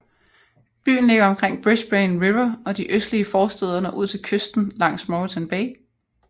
Byen ligger omkring Brisbane River og de østlige forstæder når ud til kysten langs Moreton Bay